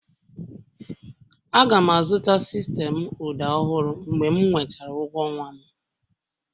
Aga m azụta sistemụ ụda ọhụrụ mgbe m nwetara ụgwọ ọnwa m